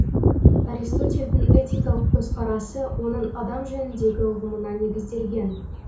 аристотельдің этикалық көзқарасы оның адам жөніндегі ұғымына негізделген